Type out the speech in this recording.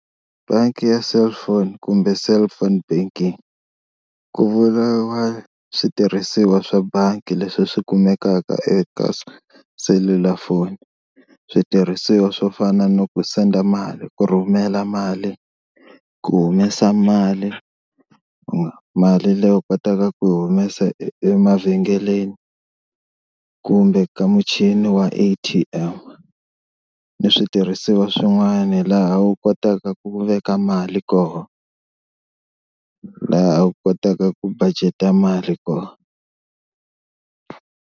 Bangi ya cellphone kumbe cellphone banking ku vuriwa switirhisiwa swa bangi leswi swi kumekaka eka selulafoni, switirhisiwa swo fana no ku send a mali, ku rhumela mali, ku humesa mali ku mali leyi u kotaka ku humesa emavhengeleni kumbe ka muchini wa A_T_M, ni switirhisiwa swin'wani laha u kotaka ku veka mali koho laha a kotaka ku budget-a mali koho.